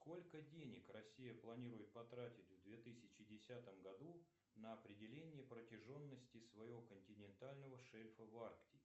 сколько денег россия планирует потратить в две тысячи десятом году на определение протяженности своего континентального шельфа в арктике